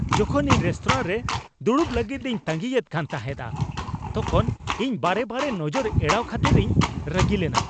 ᱡᱚᱠᱷᱚᱱ ᱤᱧ ᱨᱮᱥᱛᱳᱨᱟ ᱨᱮ ᱫᱩᱲᱩᱵ ᱞᱟᱹᱜᱤᱫ ᱤᱧ ᱛᱟᱺᱜᱤᱭᱮᱫ ᱠᱟᱱ ᱛᱟᱦᱮᱸᱜᱼᱟ ᱛᱚᱠᱷᱚᱱ ᱤᱧ ᱵᱟᱨᱮ ᱵᱟᱨᱮ ᱱᱚᱡᱚᱨ ᱮᱲᱟᱣ ᱠᱷᱟᱹᱛᱤᱨᱤᱧ ᱨᱟᱹᱜᱤ ᱞᱮᱱᱟ, ᱾